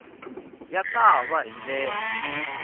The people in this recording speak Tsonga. ya ta va hi ndlela